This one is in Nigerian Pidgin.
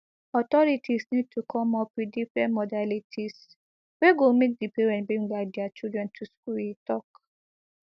authorities need to come up with different modalities wey go make di parents bring back dia children to school e tok